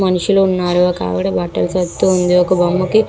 మనషులు ఉనారు ఇక్కడ వక ఆవిడ బట్టలూ సదురుతుంది బొమ్మ కి--